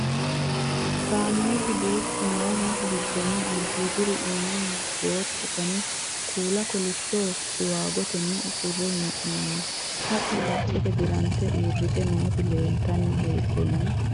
Kaameelu duuchu noohu gidoonni alibiidihira iimmanni rootto, danna kuulla, kolishsho siwaagottenni usurre hee'noonni haqqe qacceette diranite uuritte nootti leelittanni heedhenna